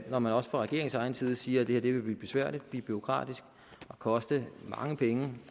når man også fra regeringens egen side siger at det her vil blive besværligt og bureaukratisk og koste mange penge